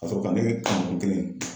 Ka sɔrɔ ka ne kɛ kelen ye.